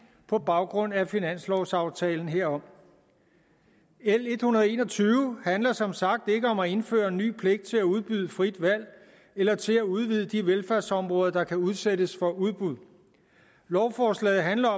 på baggrund af finanslovaftalen herom l en hundrede og en og tyve handler som sagt ikke om at indføre ny pligt til at udbyde frit valg eller til at udvide de velfærdsområder der kan udsættes for udbud lovforslaget handler